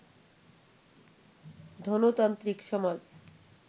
ধনতান্ত্রিক-সমাজ